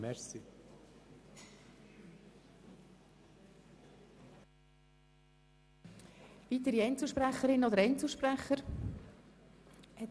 Wünschen weitere Einzelsprecherinnen oder Einzelsprecher das Wort?